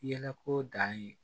Yɛlɛko dan ye